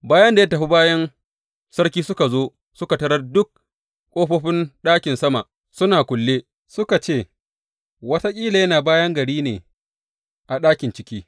Bayan da ya tafi, bayin sarki suka zo suka tarar duk ƙofofin ɗakin sama suna kulle, suka ce, Wataƙila yana bayan gari ne a ɗakin ciki.